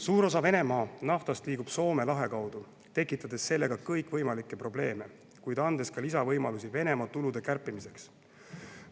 Suur osa Venemaa naftast liigub Soome lahe kaudu, tekitades sellega kõikvõimalikke probleeme, kuid andes ka lisavõimalusi Venemaa tulude kärpimiseks.